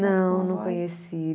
Não, não conheci.